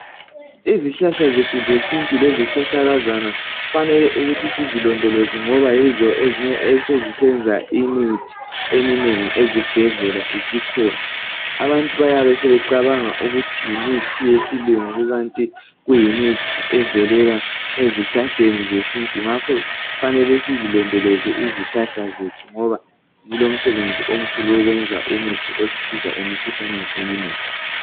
Izihlahla zethu zesintu lezihlahlakazana kufanele ukuthi sizilondoloze ngoba yizo ezinye esezisenza imithi eminengi ezibhedlela isikhona. Abantu bayabe sebecabanga ukuthi yimithi yesilungu kanti kuyimithi evelela ezihlahleni zesintu ngakho kufanele sizilondoloze izihlahla zethu ngoba zilomsebenzi omkhulu wokwenza umuthi osisiza emkhuhlaneni eminengi.